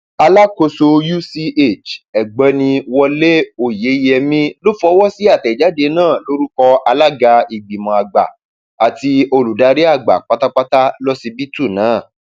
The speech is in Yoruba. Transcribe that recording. alákòóso uch ọgbẹni wọlé oyeyèmí ló fọwọ sí àtẹjáde náà lórúkọ alága ìgbìmọ àgbà àti olùdarí àgbà pátá lọsibítù náà